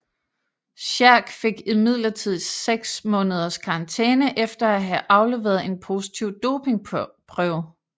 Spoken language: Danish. Sherk fik imidlertid 6 måneders karantæne efter at have afleveret en positiv dopingprøve